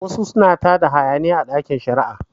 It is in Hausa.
Wasu suna tada hayaniya a ɗakin shari'a